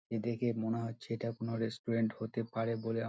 এদিকে মনে হচ্ছে এটা কোনো রেস্টুরেন্ট হতে পারে বলে আমা--